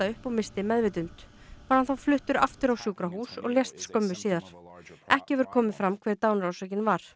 upp og missti meðvitund var hann þá fluttur aftur á sjúkrahús og lést skömmu síðar ekki hefur komið fram hver dánarorsökin var